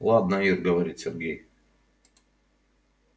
ладно ир говорит сергей